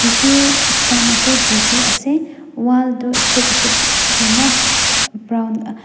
tissue stan ase tissue ase wall tu step step kurna brown .